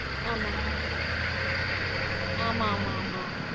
ஆமா. ஆமா ஆமா ஆமா ஆமா